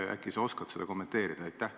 Äkki sa oskad seda kommenteerida?